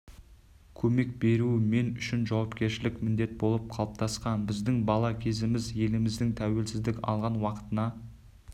көмек беру мен үшін жауапкершілік міндет болып қалыптасқан біздің бала кезіміз еліміздің тәуелсіздік алған уақытына